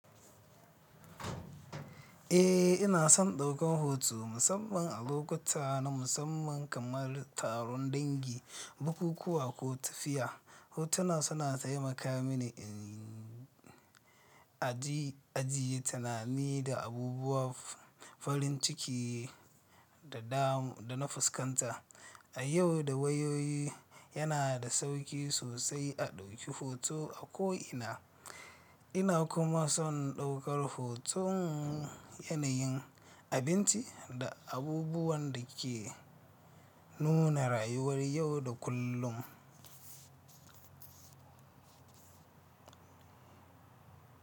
Eh ina son ɗaukan hoto musamman a lokuta na musamman kamar taron dangi, bukukuwa ko tafiya. Hotuna suna taimaka mini in ajiye tunani da abubuwan farin ciki da na fuskanta. A yau da wayoyi yana da sauƙi sosai a ɗauki hoto a ko ina. Ina kuma son ɗaukar hoton yanayin, abinci da abubuwan da ke nuna rayuwar yau da kullum.